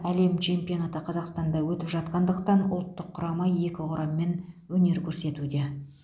әлем чемпионаты қазақстанда өтіп жатқандықтан ұлттық құрама екі құраммен өнер көрсетуде